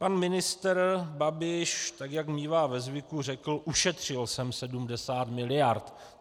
Pan ministr Babiš, tak jak mívá ve zvyku, řekl: Ušetřil jsem 70 miliard.